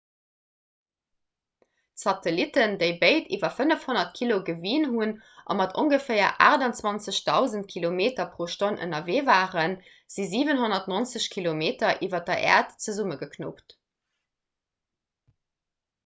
d'satellitten déi béid iwwer 500 kilo gewien hunn a mat ongeféier 28 000 km/h ënnerwee waren si 790 kilometer iwwer der äerd zesummegeknuppt